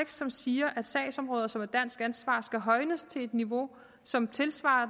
som siger at sagsområder som er dansk ansvar skal højnes til et niveau som tilsvarer